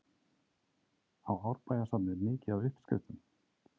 Á Árbæjarsafnið mikið af uppskriftum?